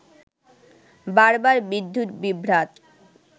বারবার বিদ্যুৎ বিভ্রাট